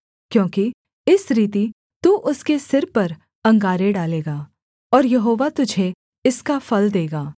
क्योंकि इस रीति तू उसके सिर पर अंगारे डालेगा और यहोवा तुझे इसका फल देगा